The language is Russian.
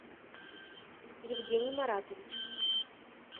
евгений маратович